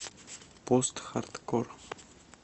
постхардкор